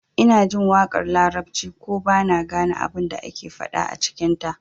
Ina jin waƙar larabci ko ba na gane abin da ake faɗa a cikinta